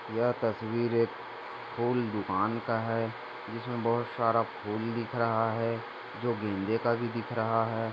यह तस्वीर एक फूल दुकान का है उसमे बहुत सारा फूल दिख रहा है जो गेंदे का भी दिख रहा है।